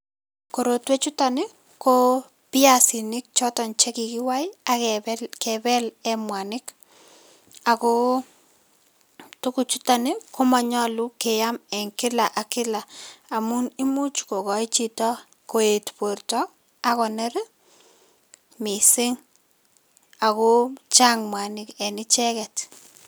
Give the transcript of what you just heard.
Korotwe chuto ni ko biasinik choton che kikiwai akebel eng mwanik ako tukuchuto ni ko manyolu keam eng kila ak kila amun imuch ko koi chito koetu borta akoner mising ako chang mwanik eng icheket.